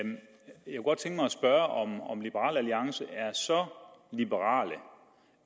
spørge om om liberal alliance er så liberale